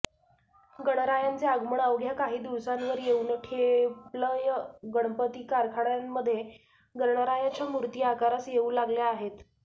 गणरायांचे आगमन अवघ्या काही दिवसांवर येऊन ठेपलंयगणपती कारखान्यांमध्ये गणरायाच्या मूर्ती आकारास येऊ लागल्या आहेत